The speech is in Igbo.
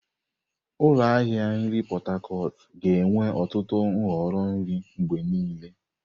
Ụlọ ahịa nri Pot Tarcot ga-enwe ọtụtụ nhọrọ nri mgbe niile.